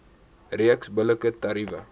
reeks billike tariewe